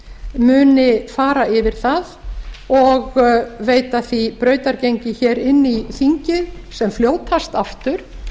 muni fara yfir það og veita því brautargengi hér inn í þingið sem fljótast aftur